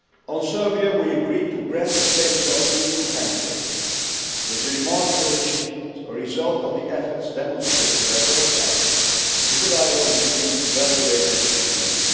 also. On Serbia we agreed to grant it the status of EU candidate. This is a remarkable achievement a result of the efforts demonstrated by both sides in the dialogue between Belgrade and Pristina.